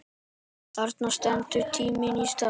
Þarna stendur tíminn í stað.